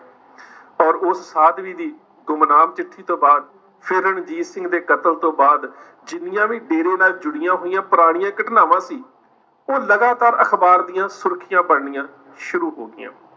ਔਰ ਉਸ ਸਾਧਵੀ ਦੀ ਗੁੰਮਨਾਮ ਚਿੱਠੀ ਤੋਂ ਬਾਅਦ ਫਿਰ ਰਣਜੀਤ ਸਿੰਘ ਦੇ ਕਤਲ ਤੋਂ ਬਾਅਦ ਜਿੰਨੀਆਂ ਵੀ ਡੇਰੇ ਨਾਲ ਜੁੜੀਆਂ ਹੋਈਆਂ ਪੁਰਾਣੀਆਂ ਘਟਨਾਵਾਂ ਸੀ, ਉਹ ਲਗਾਤਾਰ ਅਖ਼ਬਾਰ ਦੀਆਂ ਸੁਰਖੀਆਂ ਬਣਨੀਆਂ ਸ਼ੁਰੂ ਹੋ ਗਈਆਂ।